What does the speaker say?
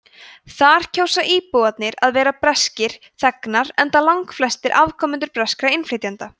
þar kjósa íbúarnir að vera breskir þegnar enda langflestir afkomendur breskra innflytjenda